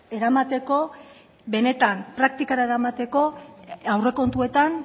eramateko benetan praktikara eramateko aurrekontuetan